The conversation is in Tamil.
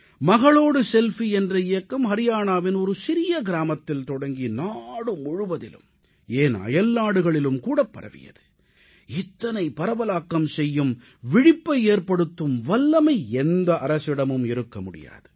மகளோடு செல்ஃபி என்ற இயக்கம் அரியானாவின் ஒரு சிறிய கிராமத்தில் தொடங்கி நாடு முழுவதிலும் ஏன் அயல்நாடுகளிலும் கூடப் பரவியது இத்தனை பரவலாக்கம் செய்யும் விழிப்பை ஏற்படுத்தும் வல்லமை எந்த அரசிடமும் இருக்க முடியாது